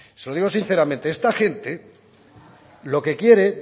se lo digo sinceramente esta gente lo que quiere